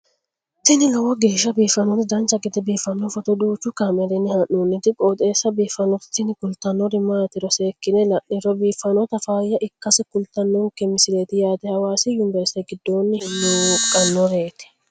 tini lowo geeshsha biiffannoti dancha gede biiffanno footo danchu kaameerinni haa'noonniti qooxeessa biiffannoti tini kultannori maatiro seekkine la'niro biiffannota faayya ikkase kultannoke misileeti yaate hawasi univerisite giddoonni hinge hullunqannireeti